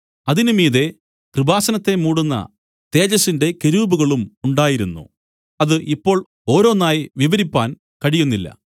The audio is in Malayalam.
അതിന് മീതെ കൃപാസനത്തെ മൂടുന്ന തേജസ്സിന്റെ കെരൂബുകളും ഉണ്ടായിരുന്നു അത് ഇപ്പോൾ ഓരോന്നായി വിവരിപ്പാൻ കഴിയുന്നില്ല